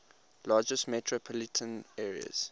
largest metropolitan areas